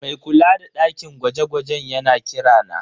Mai kula da dakin gwaje-gwajen yana kira na.